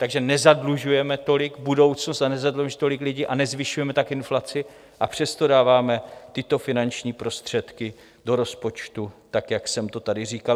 Takže nezadlužujeme tolik budoucnost a nezadlužujeme tolik lidi a nezvyšujeme tak inflaci, a přesto dáváme tyto finanční prostředky do rozpočtu tak, jak jsem to tady říkal.